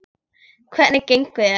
Hvernig gengur þér?